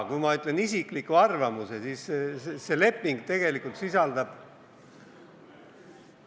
Kui ma ütlen isikliku arvamuse, siis see leping tegelikult sisaldab ...